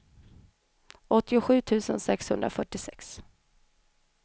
åttiosju tusen sexhundrafyrtiosex